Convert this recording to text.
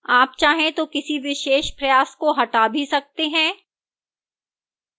आप चाहें तो किसी विशेष प्रयास को हटा भी सकते हैं